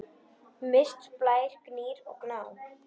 Mist, Blær, Gnýr og Gná.